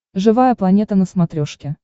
живая планета на смотрешке